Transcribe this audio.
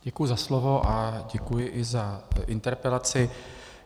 Děkuji za slovo a děkuji i za interpelaci.